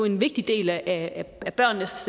en vigtig del af børnenes